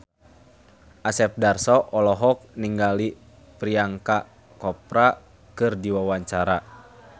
Asep Darso olohok ningali Priyanka Chopra keur diwawancara